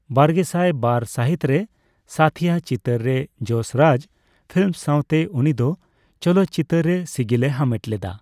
ᱵᱟᱨᱜᱮᱥᱟᱭ ᱵᱟᱨ ᱥᱟᱹᱦᱤᱛ ᱨᱮ ᱥᱟᱛᱷᱤᱭᱟ ᱪᱤᱛᱟᱹᱨ ᱨᱮ ᱡᱚᱥ ᱨᱟᱡᱽ ᱯᱷᱤᱞᱢᱥ ᱥᱟᱣᱛᱮ ᱩᱱᱤ ᱫᱚ ᱪᱚᱞᱚᱛ ᱪᱤᱛᱟᱹᱨ ᱨᱮ ᱥᱤᱜᱤᱞ ᱮ ᱦᱟᱢᱮᱴ ᱞᱮᱫᱟ᱾